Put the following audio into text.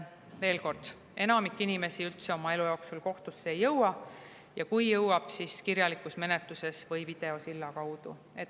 Veel kord, enamik inimesi ei jõua üldse oma elu jooksul kohtusse ja kui jõuab, siis kirjalikus menetluses või videosilla kaudu.